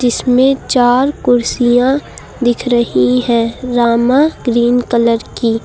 इसमें चार कुर्सियां दिख रही है रामा ग्रीन कलर की।